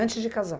Antes de casar?